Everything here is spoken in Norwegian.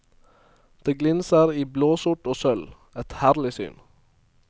Det glinser i blåsort og sølv, et herlig syn.